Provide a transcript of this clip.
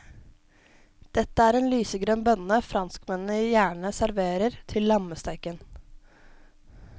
Dette er en lysegrønn bønne franskmennene gjerne serverer til lammesteken.